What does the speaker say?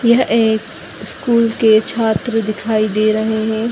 यह एक स्कूल के छात्र दिखाई दे रहें हैं।